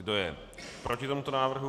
Kdo je proti tomuto návrhu?